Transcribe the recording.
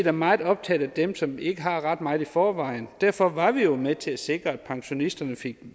er meget optaget af dem som ikke har ret meget i forvejen derfor var vi jo med til at sikre at pensionisterne fik